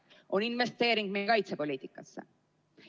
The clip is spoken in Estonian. ... on investeering meie kaitsepoliitikasse.